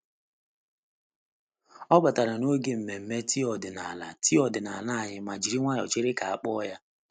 Ọ batara n'oge nmenme tii ọdịnala tii ọdịnala anyị ma jiri nwayọọ chere ka a kpọọ ya.